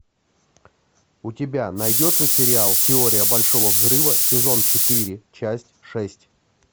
у тебя найдется сериал теория большого взрыва сезон четыре часть шесть